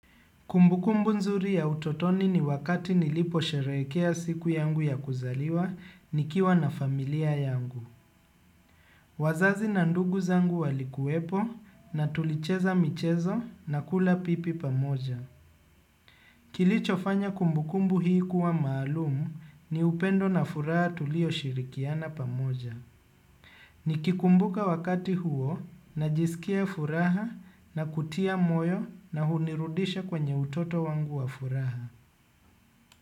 Kumbukumbu nzuri ya utotoni ni wakati niliposherehekea siku yangu ya kuzaliwa nikiwa na familia yangu. Wazazi na ndugu zangu walikuwepo na tulicheza michezo na kula pipi pamoja. Kilichofanya kumbukumbu hii kuwa maalumu ni upendo na furaha tulioshirikiana pamoja. Nikikumbuka wakati huo najisikia furaha na kutia moyo na hunirudisha kwenye utoto wangu wa furaha.